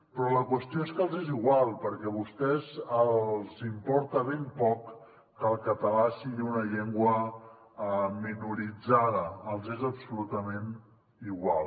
però la qüestió és que els és igual perquè a vostès els importa ben poc que el català sigui una llengua minoritzada els és absolutament igual